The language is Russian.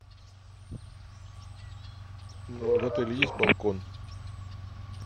в отеле есть балкон